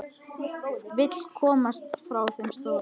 Vill komast frá þeim stóra.